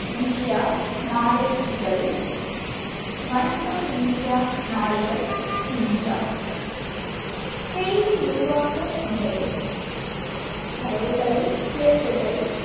India மாலை இதழ், வணக்கம் இந்தியா நாளிதழ் இந்தியா செய்தி உருவாக்க முறைகள் தரவுகளைத் திரட்டுதல்,